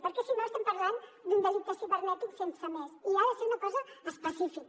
perquè si no estem parlant d’un delicte cibernètic sense més i ha de ser una cosa específica